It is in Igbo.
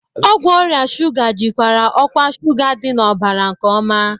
Ọgwụ ọrịa shuga jikwaa ọkwa shuga dị n'ọbara nke ọma.